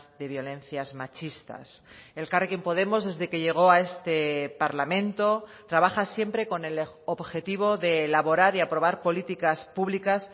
de violencias machistas elkarrekin podemos desde que llegó a este parlamento trabaja siempre con el objetivo de elaborar y aprobar políticas públicas